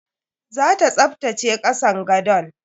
Zata tsaftace kasan gadon.